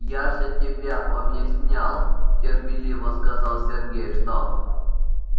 я же тебе объяснял терпеливо сказал сергей что